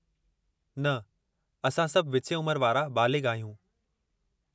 न, असां सभु विचें उमिरि वारा बालिग़ आहियूं।